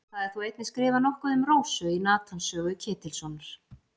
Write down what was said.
Það er þó einnig skrifað nokkuð um Rósu í Natans sögu Ketilssonar.